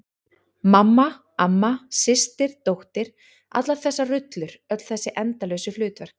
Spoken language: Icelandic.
Mamma, amma, systir dóttir- allar þessar rullur, öll þessi endalausu hlutverk.